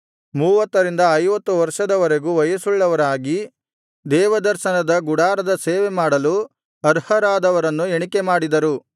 ಮೂವತ್ತರಿಂದ ಐವತ್ತು ವರ್ಷದವರೆಗೂ ವಯಸ್ಸುಳ್ಳವರಾಗಿ ದೇವದರ್ಶನದ ಗುಡಾರದ ಸೇವೆ ಮಾಡಲು ಅರ್ಹರಾದವರನ್ನು ಎಣಿಕೆ ಮಾಡಿದರು